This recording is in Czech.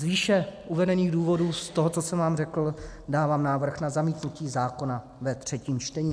Z výše uvedených důvodů, z toho, co jsem vám řekl, dávám návrh na zamítnutí zákona ve třetím čtení.